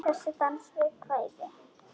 Þessi dans við kvæði.